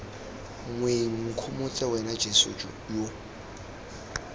moeng nkgomotse wena jeso yo